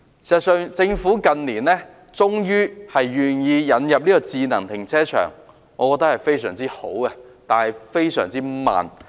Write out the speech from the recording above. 事實上，政府近年終於願意引入智能停車場，我覺得很好，但進展非常緩慢。